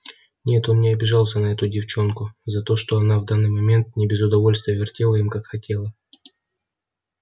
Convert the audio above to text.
нет он не обижался на эту девчонку за то что она в данный момент не без удовольствия вертела им как хотела